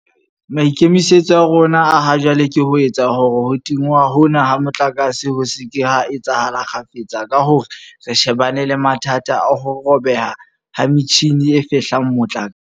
Maikemisetso a rona a ha jwale ke ho etsa hore ho tingwa hona ha motlakase ho se ke ha etsahala kgafetsa ka hore re shebane le mathata a ho robeha ha metjhini e fehlang motlakase.